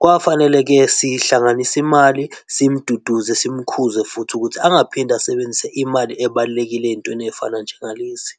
Kwafanele-ke sihlanganise imali simduduze, simukhuze futhi ukuthi angaphinde asebenzise imali ebalulekile ezintweni ezifana njengalezi.